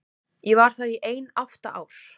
Ég var þar í ein átta ár.